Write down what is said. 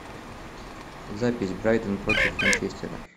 запись брайтон против манчестера